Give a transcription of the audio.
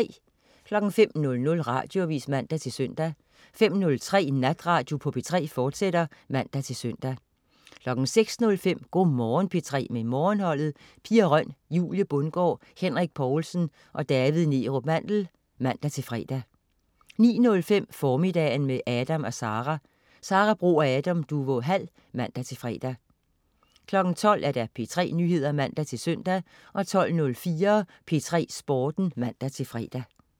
05.00 Radioavis (man-søn) 05.03 Natradio på P3, fortsat (man-søn) 06.05 Go' Morgen P3 med Morgenholdet. Pia Røn, Julie Bundgaard, Henrik Povlsen og David Neerup Mandel (man-fre) 09.05 Formiddagen med Adam & Sara. Sara Bro og Adam Duvå Hall (man-fre) 12.00 P3 Nyheder (man-søn) 12.04 P3 Sporten (man-fre)